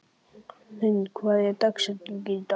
Hrund, hver er dagsetningin í dag?